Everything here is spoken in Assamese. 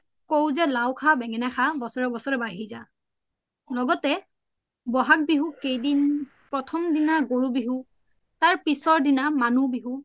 কও জে লাউ খা বেনংেনা খা বচৰে বচৰে বাঢ়ি যা লগতে বহাগ বিহু কেইদিন প্ৰথম দিনা গৰু বিহু তাৰে পিছৰ দিনা মানুহ বিহু